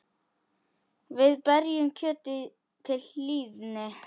Við berjum kjötið til hlýðni.